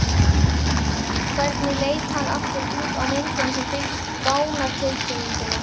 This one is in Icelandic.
Hvernig leit hann aftur út á myndinni sem fylgdi dánartilkynningunni?